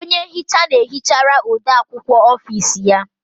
Onye nhicha na-ehichara ode akwukwọ ọfici ya.